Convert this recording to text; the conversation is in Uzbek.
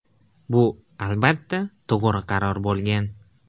Bu, albatta, to‘g‘ri qaror bo‘lgan.